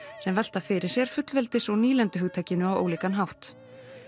sem velta fyrir sér fullveldis og á ólíkan hátt